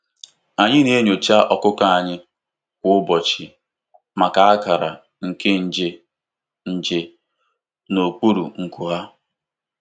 Anyị na-enyocha ọkụkọ anyị kwa ụbọchị maka akara nke nje nje n'okpuru nku ha.